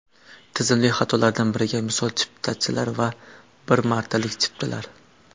Tizimli xatolardan biriga misol chiptachilar va bir martalik chiptalar.